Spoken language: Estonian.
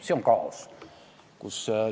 See on kaos!